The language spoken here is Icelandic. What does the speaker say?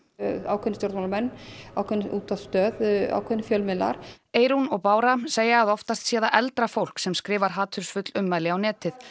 ákveðnir stjórnmálamenn ákveðin útvarpsstöð ákveðnir fjölmiðlar Eyrún og Bára segja að oftast sé það eldra fólk sem skrifar hatursfull ummæli á netið